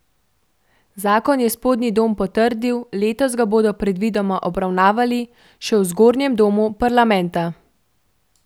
Zakon je spodnji dom potrdil, letos ga bodo predvidoma obravnavali še v zgornjem domu parlamenta.